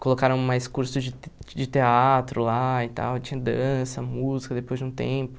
Colocaram mais curso de de teatro lá e tal, tinha dança, música depois de um tempo.